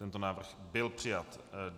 Tento návrh byl přijat.